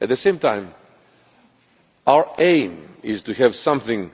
At the same time, our aim is to have something